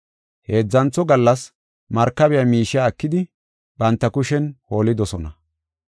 Heedzantho gallas markabiya miishiya ekidi banta kushen holidosona.